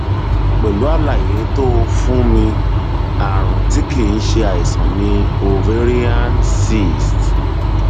pẹlú àlàyé tó o fún mi ààrùn tí kìí ṣe àìsàn ni ovarian cyst